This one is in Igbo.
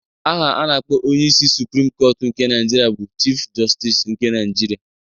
Aha a na-akpọ onyeisi suprim kọtụ nke Naịjirịa bụ Chif Jọstis nke Naịjirịa